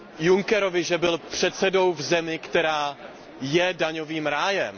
Junckerovi, že byl předsedou v zemi, která je daňovým rájem.